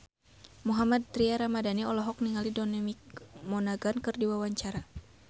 Mohammad Tria Ramadhani olohok ningali Dominic Monaghan keur diwawancara